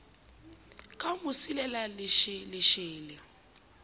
ka ho mo silela lesheleshele